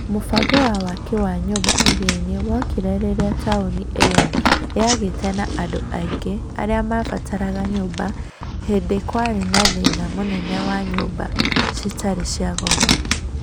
Mũbango wa waki wa nyũmba Iriainĩ wokire rĩrĩa taũni ĩyo yagĩte na andũ aingĩ arĩa mabataraga nyũmba hĩndi kwarĩ na thĩna mũnene wa nyũmba citarĩ cia goro.